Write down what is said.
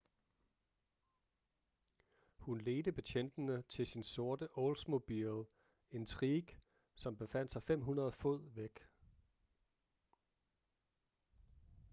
hun ledte betjentene til sin sorte oldsmobile intrigue som befandt sig 500 fod væk